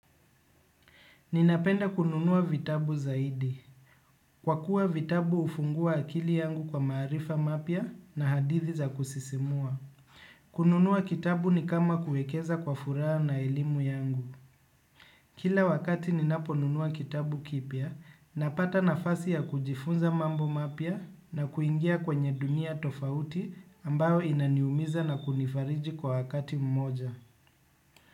Ninapenda kununua vitabu zaidi. Kwa kuwa vitabu hufungua akili yangu kwa maarifa mapya na hadithi za kusisimua. Kununua kitabu ni kama kuekeza kwa furaha na ilimu yangu. Kila wakati ninapo nunua kitabu kipya, napata nafasi ya kujifunza mambo mapya na kuingia kwenye dunia tofauti ambayo inaniumiza na kunifariji kwa wakati mmoja.